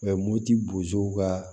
moti bozow ka